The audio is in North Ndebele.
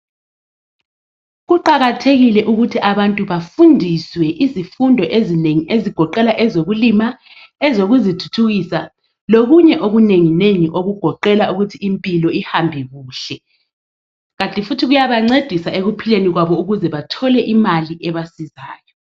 Kuqakathekile ukuthi abantu bafundiswe izifundo ezinengi ezigoqela ezokukulima, ezokuzithuthukisa, lokunye okunenginengi okugoqela ukuthi impilo ihambe kuhle kanti futhi kuyabancedisa ekuphileni kwabo ukuthi bathole imali ebasizayo